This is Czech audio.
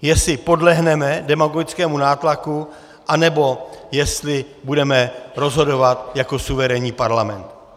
Jestli podlehneme demagogickému nátlaku, anebo jestli budeme rozhodovat jako suverénní parlament.